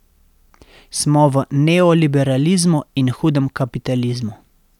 Smo v neoliberalizmu in hudem kapitalizmu.